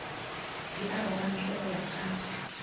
di arogantšwe go ya ka